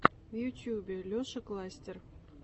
в ютубе леша кластер